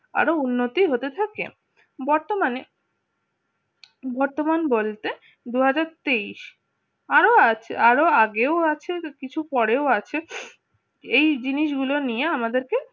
আরো উন্নতি হতে থাকে বর্তমানে বর্তমান বলতে দুই হাজার তেইশ আরো আছে আরো আগেও আছে কিছু পরেও আছে এই জিনিসগুলো নিয়ে আমাদেরকে